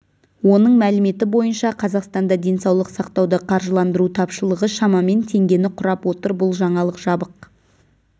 оның мәліметі бойынша қазақстанда денсаулық сақтауды қаржыландыру тапшылығы шамамен теңгені құрап отыр бұл жаңалық жабық